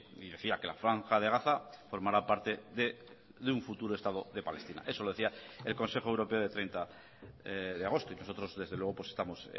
y decía que la franja de gaza formará parte de un futuro estado de palestina eso lo decía el consejo europeo de treinta de agosto y nosotros desde luego estamos